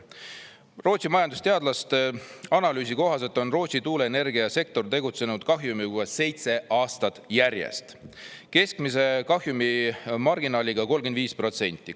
Rootsi majandusteadlaste analüüsi kohaselt on Rootsi tuuleenergiasektor tegutsenud kahjumis seitse aastat järjest, keskmise kahjumi marginaaliga 35%.